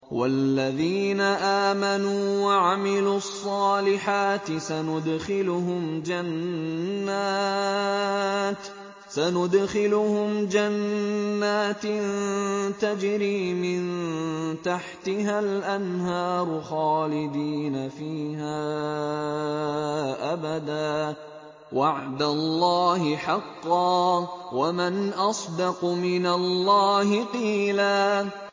وَالَّذِينَ آمَنُوا وَعَمِلُوا الصَّالِحَاتِ سَنُدْخِلُهُمْ جَنَّاتٍ تَجْرِي مِن تَحْتِهَا الْأَنْهَارُ خَالِدِينَ فِيهَا أَبَدًا ۖ وَعْدَ اللَّهِ حَقًّا ۚ وَمَنْ أَصْدَقُ مِنَ اللَّهِ قِيلًا